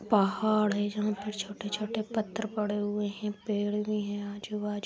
पहाड़ है जहाँ पर छोटे-छोटे पत्थर पड़े हुए है पेड़ भी है आजू-बाजू।